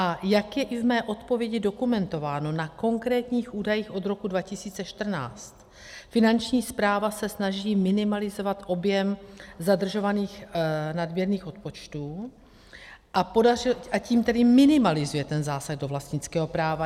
A jak je i v mé odpovědi dokumentováno na konkrétních údajích od roku 2014, Finanční správa se snaží minimalizovat objem zadržovaných nadměrných odpočtů, a tím tedy minimalizuje ten zásah do vlastnického práva.